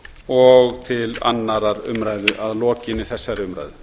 og til annarrar umræðu að lokinni þessari umræðu